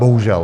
Bohužel.